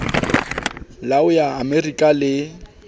la ho ya amerika le